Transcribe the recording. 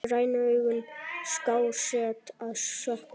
Grænu augun skásett að sökkva.